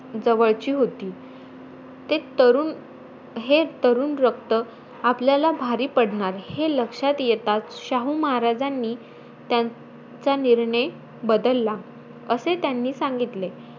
जवळची होती. ते तरुण हे तरुण रक्त आपल्याला भारी पडणार, हे लक्षात येताचं, शाहू महाराजांनी त्यांचा निर्णय बदलला, असे त्यांनी सांगितले.